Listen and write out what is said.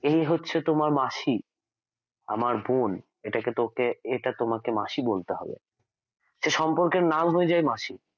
এই হচ্ছে তোমার মাসি আমার বোন এটা তোকে এটা তোমাকে মাসি বলতে হবে সে সম্পর্কের নাম হয়ে যায় মাসি